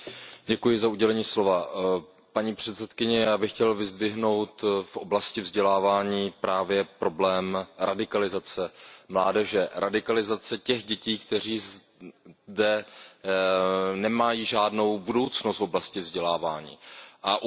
Paní předsedající, já bych chtěl vyzdvihnout v oblasti vzdělávání právě problém radikalizace mládeže. Radikalizace těch dětí, které zde nemají žádnou budoucnost v oblasti vzdělávání. A upozornit i na problém dětí, které